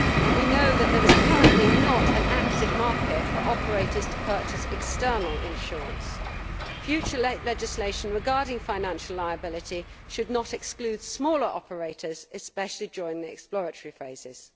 We know that there is currently not an active market for operators to purchase external insurance. Future legislation regarding financial liability should not exclude smaller operators, especially during the exploratory phases.